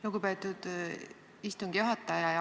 Lugupeetud istungi juhataja!